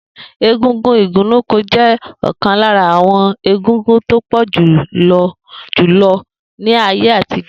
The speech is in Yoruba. Egúngún igunnuko je okan lara awon egúngún to pojulo julo ni aye atijo.